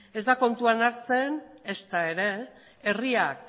ez da kontuan hartzen ezta ere herriak